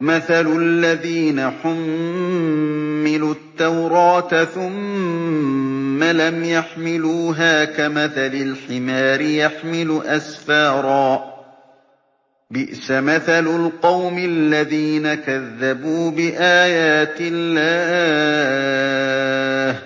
مَثَلُ الَّذِينَ حُمِّلُوا التَّوْرَاةَ ثُمَّ لَمْ يَحْمِلُوهَا كَمَثَلِ الْحِمَارِ يَحْمِلُ أَسْفَارًا ۚ بِئْسَ مَثَلُ الْقَوْمِ الَّذِينَ كَذَّبُوا بِآيَاتِ اللَّهِ ۚ